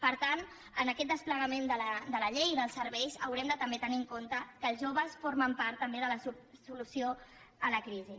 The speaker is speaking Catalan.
per tant en aquest desplegament de la llei i dels serveis haurem de també tenir en compte que els joves formen part també de la solució a la crisi